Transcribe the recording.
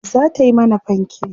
zata Yi mana fanke